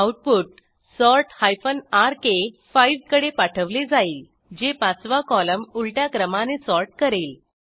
output sort rk5 कडे पाठवले जाईल जे पाचवा कॉलम उलट्या क्रमाने सॉर्ट करेल